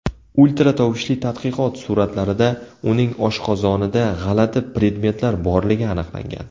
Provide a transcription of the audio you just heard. Ultratovushli tadqiqot suratlarida uning oshqozonida g‘alati predmetlar borligi aniqlangan.